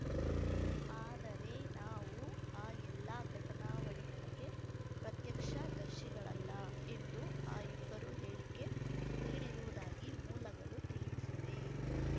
ಆದರೆ ನಾವು ಆ ಎಲ್ಲಾ ಘಟನಾವಳಿಗಳಿಗೆ ಪ್ರತ್ಯಕ್ಷ ದರ್ಶಿಗಳಲ್ಲ ಎಂದು ಆ ಇಬ್ಬರು ಹೇಳಿಕೆ ನೀಡಿರುವುದಾಗಿ ಮೂಲಗಳು ತಿಳಿಸಿವೆ